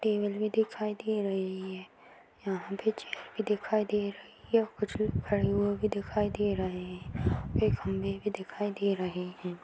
टेबल भी दिखाई दे रही है यहाँ पे चेयर भी दिखाई दे रही है कुछ खड़े हुए भी दिखाई दे रहें हैं कई खंभे भी दिखाई दे रहें हैं।